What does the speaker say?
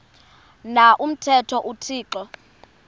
na umthetho uthixo